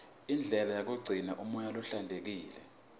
indlela yokugcina umoya uhlantekile